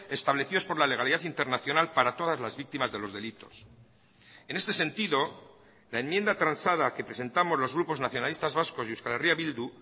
establecidos por la legalidad internacional para todas las víctimas de los delitos en este sentido la enmienda transada que presentamos los grupos nacionalistas vascos y euskal herria bildu